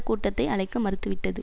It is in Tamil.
கூட்டத்தை அழைக்க மறுத்துவிட்டது